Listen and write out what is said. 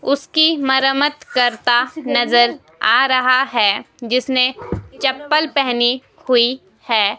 उसकी मरमत करता नजर आ रहा है जिसने चप्पल पहनी हुई है.